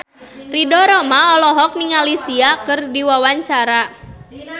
Ridho Roma olohok ningali Sia keur diwawancara